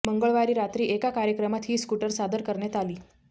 मंगळवारी रात्री एका कार्यक्रमात ही स्कूटर सादर करण्यात आली